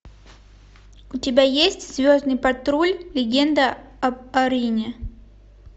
у тебя есть звездный патруль легенда об арине